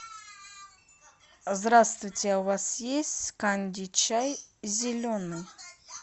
здравствуйте у вас есть канди чай зеленый